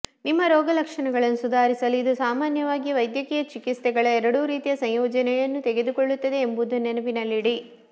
ನಿಮ್ಮ ರೋಗಲಕ್ಷಣಗಳನ್ನು ಸುಧಾರಿಸಲು ಇದು ಸಾಮಾನ್ಯವಾಗಿ ವೈದ್ಯಕೀಯ ಚಿಕಿತ್ಸೆಗಳ ಎರಡೂ ರೀತಿಯ ಸಂಯೋಜನೆಯನ್ನು ತೆಗೆದುಕೊಳ್ಳುತ್ತದೆ ಎಂಬುದನ್ನು ನೆನಪಿನಲ್ಲಿಡಿ